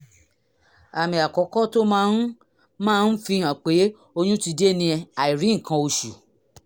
àmì àkọ́kọ́ tó máa ń máa ń fihàn pé oyún ti dé ni àìrí nǹkan oṣù